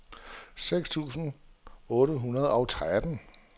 seksogtredive tusind otte hundrede og tretten